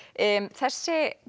þessi